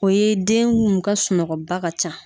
O ye den mun ka sunɔgɔba ka ca